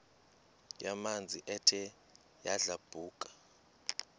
yamanzi ethe yadlabhuka